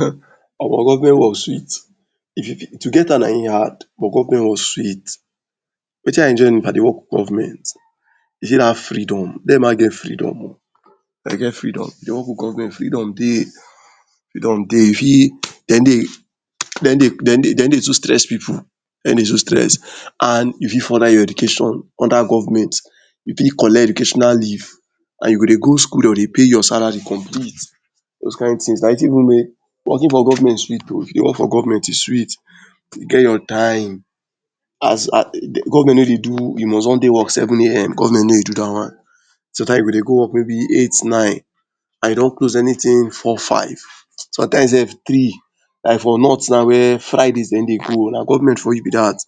um Omo government work sweet to get am na im hard but government work sweet. Wetiin i enjoy if i dey work for government you see that freedom dem ma get freedom oh dem get freedom if you dey work for government freedom dey freedom dey you fit dem no dem no dey dey too stress pipu dem no dey too stress and you fit further your education under government you fit collect educational leave. And you go dey go school and dem go dey pay your salary complete. Those kin things na wetin make working for government sweet oh if you dey work for government sweet you get your time as as government no dey do you most wan dey work seven am government no dey do that one sometime you go dey go work maybe eight nine and you don close anything four five sometimes sef three like for north na wey fridays dem no dey go na government for you be that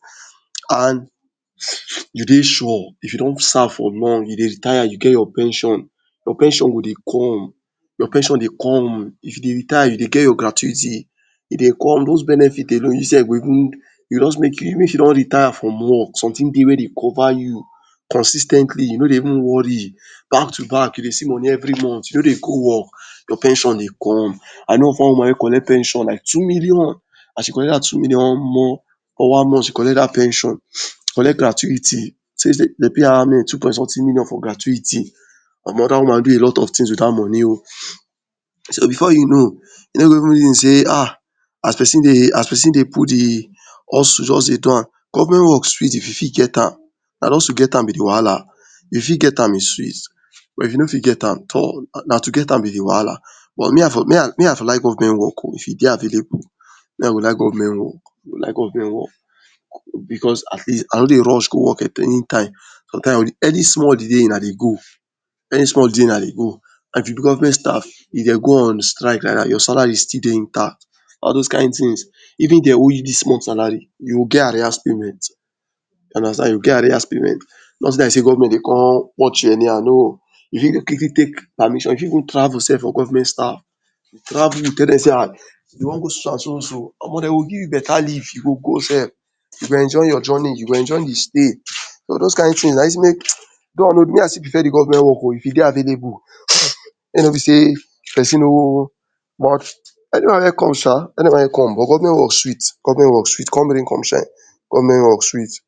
And you dey sure if you don serve for long you dey retire you get your pension, your pension go dey come your pension dey come if you dey retire you dey get your gratuity e dey come. Those benefits alone you sef go even e go, just make you even if you don retire from work something dey wey de cover you consis ten tly you no dey even worry back to back you dey see money every month you no dey go work your pension dey come. I know of one woman wey collect pension like two million as she collect that two million omo for one month she collect that pension collect gratuity dem pay her how many two point something million for gratuity. Omo that woman do a lot of things with that money o so before you know you no go even dey reason um as person dey as person dey put the hustle just dey do am government work sweet if you fit get am na just to get am be the wahala if you fit get am e sweet but if you know fit get am tor na to get amm be the wahala me i for like government work if e dey available me i go like government work o me i go like government work because at least i no dey rush go work anytime sometime any small holiday una dey go any small holiday una dey go and if you be government staff if dem go on strike like that your salary still dey intact all those kin things even if dem owe you this month salary you go get arrears payment you understand you go get arrears payment no be like sey government de watch you anyhow no you fit take permission you fit you fit even travel sef for government staff you travel you tell dem sey um you wan go so so and so. Omo dem go give you better leave you go go sef you go enjoy your journey you go enjoy the stay. So those kin things na wetin make me i still prefer the government work o if e dey available make e no be sey person no much anyone wey come um anyone wey come but government work sweet um government work sweet come rain come shine government work sweet.